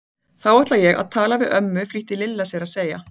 Þá ætla ég að tala við ömmu flýtti Lilla sér að segja.